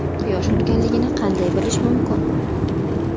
Quyosh urganligini qanday bilish mumkin?